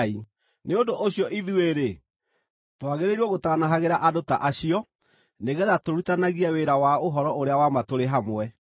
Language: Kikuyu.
Nĩ ũndũ ũcio ithuĩ-rĩ, twagĩrĩirwo gũtaanahagĩra andũ ta acio nĩgeetha tũrutithanagie wĩra wa ũhoro ũrĩa wa ma tũrĩ hamwe.